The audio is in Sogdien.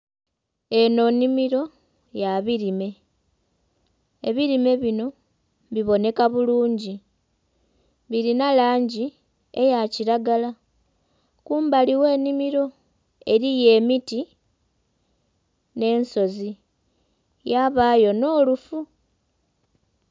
Eno nnhimiro ya birime, ebirime bino biboneka bulungi, birina langi eya kiragala kumbali gh'ennhimiro eriyo emiti n'ensozi yabaayo n'olufu.